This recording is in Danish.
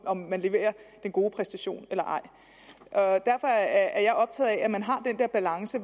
om man leverer en god præstation eller ej derfor er jeg optaget af at man har den der balance